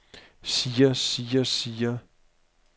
siger siger siger